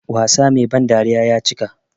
Wasa Mai ban dariya ya cika.